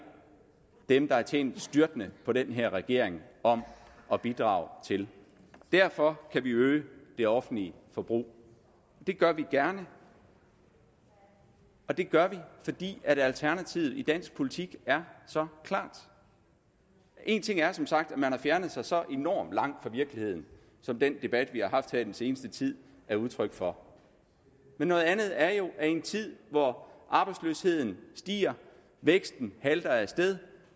dem der har tjent styrtende på den her regering om at bidrage til derfor kan vi øge det offentlige forbrug det gør vi gerne og det gør vi fordi alternativet i dansk politik er så klart en ting er som sagt at man har fjernet sig så enormt langt fra virkeligheden som den debat vi har haft her i den seneste tid er udtryk for men noget andet er jo at i en tid hvor arbejdsløsheden stiger væksten halter af sted